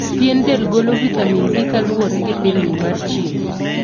Pien del golo vitamin D kaluwore gi pilni mar chirng'.